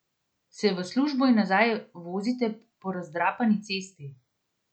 Se v službo in nazaj vozite po razdrapani cesti?